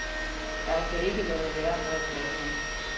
Jeg kan ikke lade være med at blande mig.